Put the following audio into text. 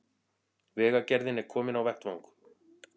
Vegagerðin er komin á vettvang